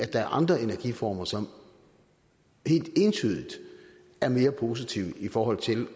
er andre energiformer som helt entydigt er mere positive i forhold til